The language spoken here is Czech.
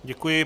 Děkuji.